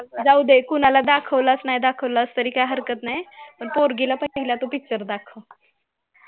जावूदे कोणाला दाखवलास नाही दाखवला तरी हरकत नाही पण पोरगीला पहिला तू picture दाखव